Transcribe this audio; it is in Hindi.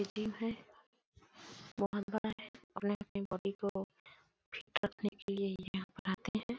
ये जिम है बहोत बड़ा है अपने-अपने बॉडी को फीट रखने के लिए यहाँ पर आते है।